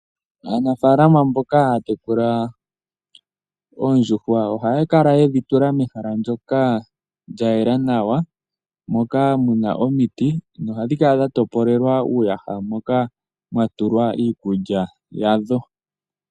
Aanafaalama mboka haya tekula oondjuhwa ohaya kala yedhi tula mehala ndyoka lyayela nawa mokaa muna omiti nohadhi kala dhatopolelwa uuyaha moka mwatulwa iikulya yadho.